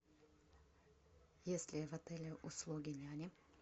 есть ли в отеле услуги няни